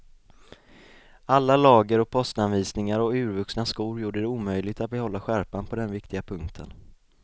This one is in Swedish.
Alla lager och postanvisningar och urvuxna skor gjorde det omöjligt att behålla skärpan på den viktiga punkten.